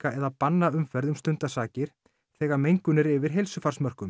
eða banna umferð um stundarsakir þegar mengun er yfir